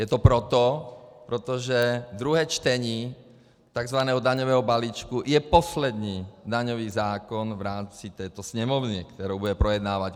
Je to proto, protože druhé čtení tzv. daňového balíčku je poslední daňový zákon v rámci této Sněmovny, kterou bude projednávat.